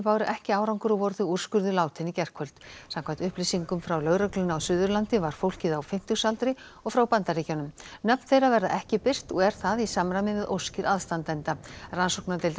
báru ekki árangur og voru þau úrskurðuð látin í gærkvöld samkvæmt upplýsingum frá lögreglunni á Suðurlandi var fólkið á fimmtugsaldri og frá Bandaríkjunum nöfn þeirra verða ekki birt og er það í samræmi við óskir aðstandenda rannsóknardeild